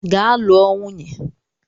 Gaa lụọ nwunye!